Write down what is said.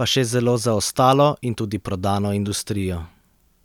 pa še zelo zaostalo in tudi prodano industrijo.